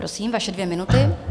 Prosím, vaše dvě minuty.